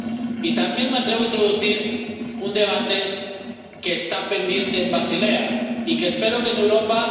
Y también me atrevo a introducir un debate que está pendiente en Basilea —y que espero que en Europa